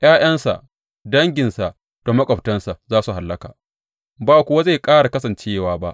’Ya’yansa, danginsa da maƙwabtansa za su hallaka, ba kuwa zai ƙara kasancewa ba.